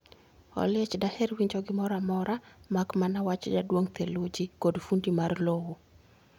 Oliech daher winjo gimoro amora mak mana wach jaduong ' theluji kod fundi mar lowo